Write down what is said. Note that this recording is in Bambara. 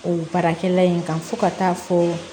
O baarakɛla in kan fo ka taa fɔ